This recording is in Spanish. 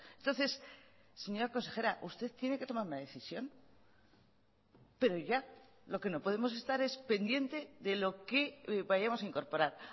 entonces señora consejera usted tiene que tomar una decisión pero ya lo que no podemos estar es pendiente de lo que vayamos a incorporar